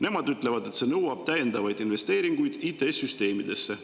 Nemad ütlevad, et see nõuab täiendavaid investeeringuid IT‑süsteemidesse.